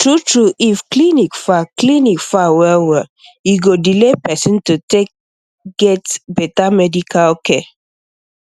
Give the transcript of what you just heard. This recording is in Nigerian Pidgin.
true true if clinic far clinic far well well e go delay person to take get better medical care